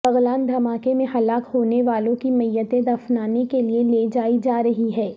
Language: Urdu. بغلان دھماکے میں ہلاک ہونے والوں کی میتیں دفنانے کے لیے لیجائی جا رہی ہیں